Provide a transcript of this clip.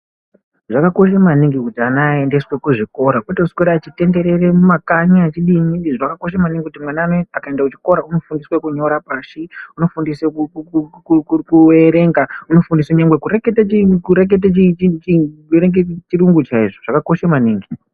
Zvakakosha maningi kuti ana aendeswe kuzvikora kwete kuswera echitenderera mumakanyi achidini zvakakosha maningikunyora oashi unofundiswe kuerenga unofundiswe kurekete chiringu chaicho zvakakosha maningi.